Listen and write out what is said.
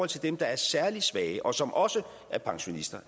til dem der er særlig svage og som også er pensionister